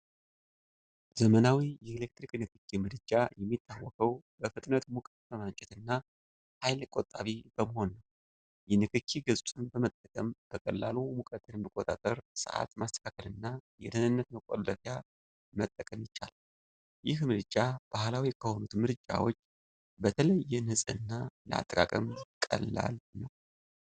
ዘመናዊው የኤሌክትሪክ ንክኪ ምድጃ የሚታወቀው በፍጥነት ሙቀት በማመንጨትና ኃይል ቆጣቢ በመሆኑ ነው። የንክኪ ገጹን በመጠቀም በቀላሉ ሙቀትን መቆጣጠር፣ ሰዓት ማስተካከል እና የደህንነት መቆለፊያ መጠቀም ይቻላል። ይህ ምድጃ ባህላዊ ከሆኑት ምድጃዎች በተለየ ንፁህና ለአጠቃቀም ቀላል ሆኗል።